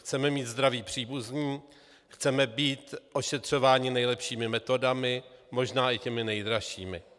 Chceme mít zdravé příbuzné, chceme být ošetřováni nejlepšími metodami, možná i těmi nejdražšími.